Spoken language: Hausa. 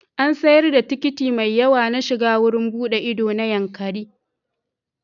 An sayar da tikiti mai yawa na shiga wurin buɗe ido na Yankari.